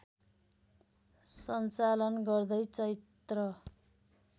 सञ्चालन गर्दै चैत्र